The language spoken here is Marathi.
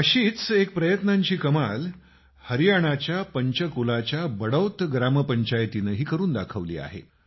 अशीच एक प्रयत्नांची कमाल हरियाणाच्या पंचकुलाच्या बडौत ग्रामपंचायतीनंही करून दाखवली आहे